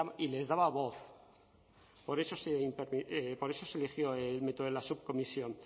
y les daba voz por eso se eligió el método de la subcomisión